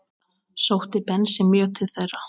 Sótti Bensi mjög til þeirra.